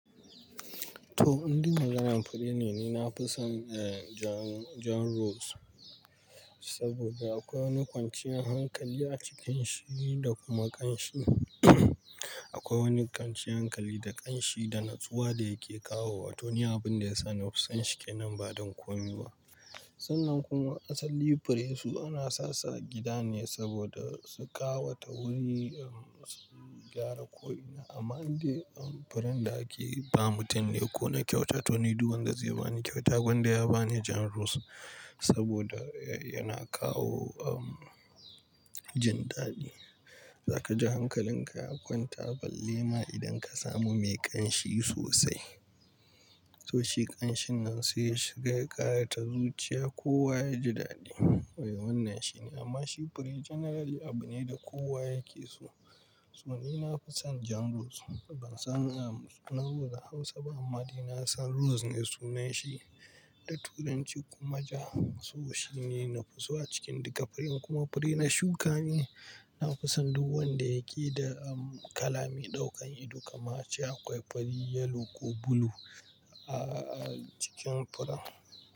To, indai maganar fure ne, ni na fi son, eh, jan, jan rose. Saboda akwai wani kwanciyar hankali a cikin shi da kuma ƙanshi. Akwai wani kwanciyar hankali da ƙanshi da nutsuwa da yake kawo wa. To, ni abin da ya sa na fi son shi kenan ba don komi ba. Sannan kuma asali fure su ana sasu a gida ne saboda su ƙawata wuri, um, gyara ko ina. Amma inda, um, furen da ake ba mutum ne ko na kyauta. To, ni duk wanda zai ba ni kyauta, gwanda ya ba ni jan rose saboda, eh, yana kawo, um, jin daɗi. Zaka ji hankalin ka ya kwanta, balle ma idan ka samu mai ƙanshi sosai. To, shi ƙanshi nan sai ya shiga ya ƙara ta zuciya kowa yaji daɗi. Eh, wannan shi ne. Amma shi fure generally abu ne da kowa yake so. So ni na fi son jan rose. Ban san, um, sunan rose a Hausa ba amma dai na san rose ne sunan shi da Turanci kuma ja, so shi ne nafi so a cikin duka furen. Kuma fure na shuka ne, na fi son duk wanda yake da, um, kala mai ɗaukan ido kamar cewa akwai fari, yellow ko blue a, a cikin furen.